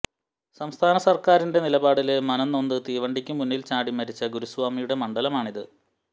സംസ്ഥാന സര്ക്കാരിന്റെ നിലപാടില് മനം നൊന്ത് തീവണ്ടിക്കു മുന്നില്ച്ചാടി മരിച്ച ഗുരുസ്വാമിയുടെ മണ്ഡലമാണിത്